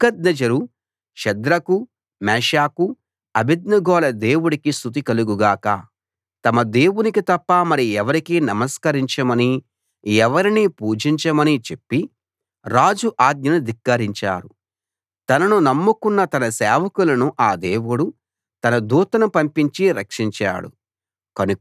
నెబుకద్నెజరు షద్రకు మేషాకు అబేద్నెగోల దేవుడికి స్తుతి కలుగు గాక తమ దేవునికి తప్ప మరి ఎవరికీ నమస్కరించమనీ ఎవరినీ పూజించమనీ చెప్పి రాజు ఆజ్ఞను ధిక్కరించారు తనను నమ్ముకున్న తన సేవకులను ఆ దేవుడు తన దూతను పంపించి రక్షించాడు